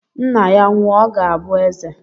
Nna ya nwụọ, ọ ga-abụ eze.